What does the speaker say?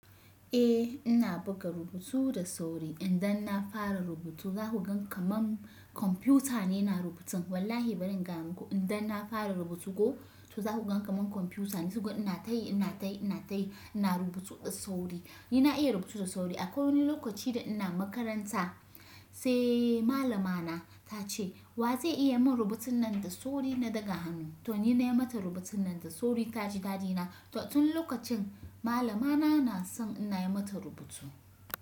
Eh ina buga rubutu da sauri idan na fara rubutu za ku gan kamar kwamfuta ne na rubutun. Wallahi bari in gano ku idan na fara rubutu ko to za ku gan kamar kwamfuta ne suka ina tayi ina tayi ina tayi ina rubutu da sauri. Ni na iya rubutu da sauri akwai wani lokaci da ina makaranta sai malamana ta ce wa zai iya mun rubutun nan da sauri na daga hannu? To ni na yi mata rubutun nan da sauri ta ji dadi na. To tun lokacin malamana na son ina yi mata rubutu.